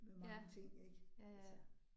Ja, ja ja